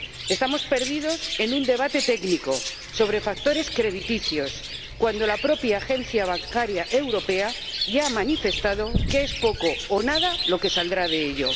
Estamos perdidos en un debate técnico sobre factores crediticios cuando la propia Autoridad Bancaria Europea ya ha manifestado que es poco o nada lo que saldrá de ello.